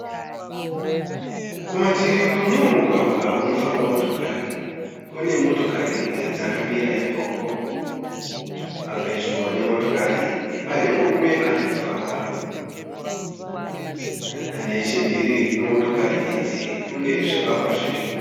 Kumativi kwemumwe mugwagwa unofamba motokari. kune motokari dzakamira ikoko. Pedyo nemotokari idzi pane murume arikufamba. Nechimhiri kwemotokari idzi kune zvivakea zviripo.